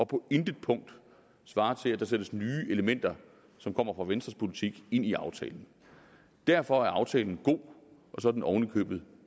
på intet punkt svarer til at der sættes nye elementer som kommer fra venstres politik ind i aftalen derfor er aftalen god og så er den oven i købet